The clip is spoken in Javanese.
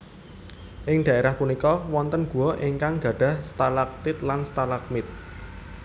Ing daerah punika wonten gua ingkang gadhah stalagtit lan stalagmit